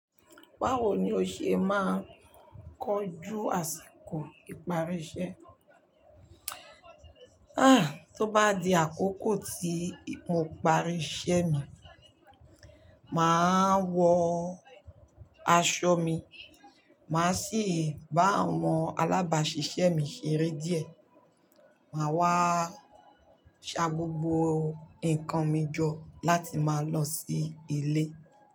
Báwo ni o ṣe máa ń kojú àsìkò ìparí iṣẹ́? Tó bá di àkókò tí mo parí iṣẹ́ mi, màá wọ aṣọ mi, màá sì bá àwọn alábàáṣiṣẹ́ mi ṣeré díẹ̀. Màá wá ṣa gbogbo nǹkan mi jọ láti máa lọ sí ilé.